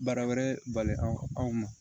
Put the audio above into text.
Baara wɛrɛ bali aw ma